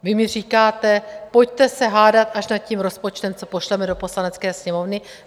Vy mi říkáte: Pojďme se hádat až nad tím rozpočtem, co pošleme do Poslanecké sněmovny.